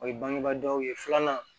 O ye bangebaa dɔw ye filanan